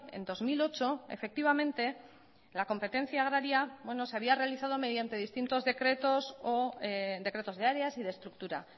en dos mil ocho efectivamente la competencia agraria se había realizado mediante distintos decretos o decretos de áreas y de estructura